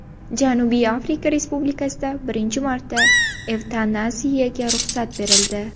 Janubiy Afrika Respublikasida birinchi marta evtanaziyaga ruxsat berildi.